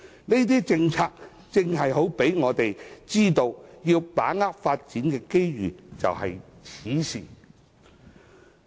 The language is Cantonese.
這些政策正好讓我們知道，要把握發展的機遇就在此時。